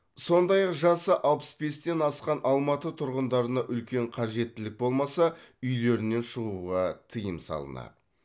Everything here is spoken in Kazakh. сондай ақ жасы алпыс бестен асқан алматы тұрғындарына үлкен қажеттілік болмаса үйлерінен шығуға тыйым салынады